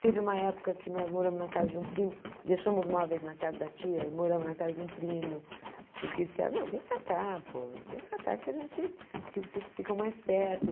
Teve uma época que nós moramos na casa de um primo, deixamos móveis na casa da tia e moramos na casa de um primo, porque disseram, não, vem para cá, pô, vem para cá que vocês ficam mais perto.